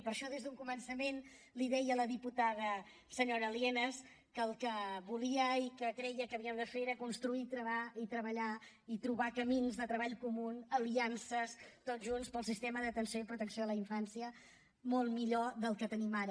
per això des d’un començament li deia a la diputada senyora lienas que el que volia i que creia que havíem de fer era construir i treballar i trobar camins de treball comú aliances tots junts per un sistema d’atenció i protecció a la infància molt millor del que tenim ara